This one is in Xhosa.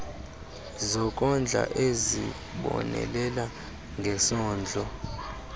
zokondla ezibonelela ngesondlo